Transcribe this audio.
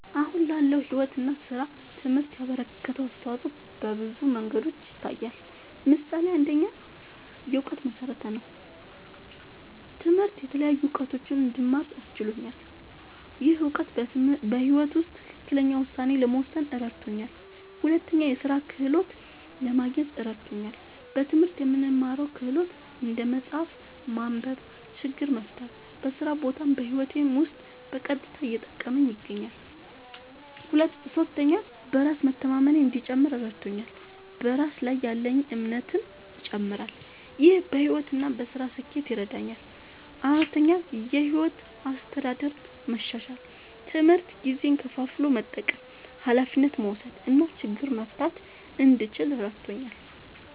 አሁን ላለው ሕይወት እና ሥራ ትምህርት ያበረከተው አስተዋጾ በብዙ መንገዶች ይታያል። ምሳሌ ፩, የእውቀት መሠረት ነዉ። ትምህርት የተለያዩ እዉቀቶችን እንድማር አስችሎኛል። ይህ እውቀት በሕይወት ውስጥ ትክክለኛ ውሳኔ ለመወሰን እረድቶኛል። ፪, የሥራ ክህሎት ለማግኘት እረድቶኛል። በትምህርት የምንማረው ክህሎት (እንደ መጻፍ፣ ማንበብ፣ ችግር መፍታ) በስራ ቦታም በህይወቴም ዉስጥ በቀጥታ እየጠቀመኝ ይገኛል። ፫. በራስ መተማመኔ እንዲጨምር እረድቶኛል። በራስ ላይ ያለኝ እምነትም ይጨምራል። ይህ በሕይወት እና በሥራ ስኬት ይረዳኛል። ፬,. የሕይወት አስተዳደር መሻሻል፦ ትምህርት ጊዜን ከፋፍሎ መጠቀም፣ ኃላፊነት መውሰድ እና ችግር መፍታት እንድችል እረድቶኛል።